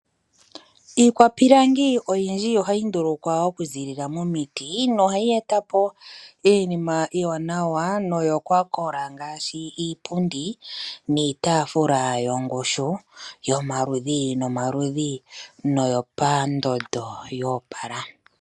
Iikwapilangi oyindji ohayi ndulukwa okuzilila momiti nohayi etapo iinima iiwanawa noyokwakola ngaashi iipundi niitafula yongushu yomaludhi nomaludhi noyopandondo yoopala.